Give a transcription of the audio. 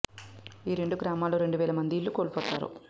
ఈ రెండు గ్రామాల్లో రెండు వేల మంది ఇళ్లు కోల్పోతారు